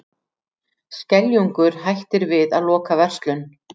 Skeljungur hættir við að loka verslun